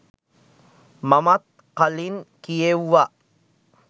මමත් කලින් කියෙව්වා.